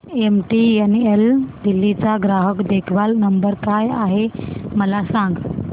MTNL Delhi चा ग्राहक देखभाल नंबर काय आहे मला सांग